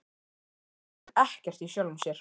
Hann skilur ekkert í sjálfum sér.